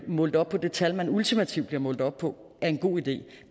målt op på det tal man ultimativt bliver målt op på er en god idé